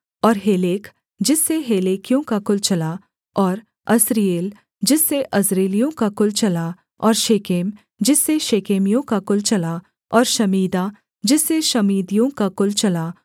और हेलेक जिससे हेलेकियों का कुल चला और अस्रीएल जिससे अस्रीएलियों का कुल चला और शेकेम जिससे शेकेमियों का कुल चला और शमीदा जिससे शमीदियों का कुल चला